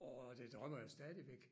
Og det drømmer jeg stadigvæk